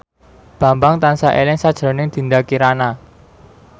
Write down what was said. Bambang tansah eling sakjroning Dinda Kirana